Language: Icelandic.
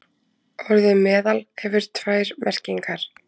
Orðið meðal hefur tvær merkingar.